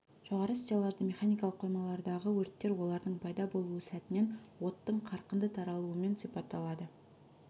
жоғары стеллажды механикалық қоймалардағы өрттер олардың пайда болу сәтінен оттың қарқынды таралуымен сипатталады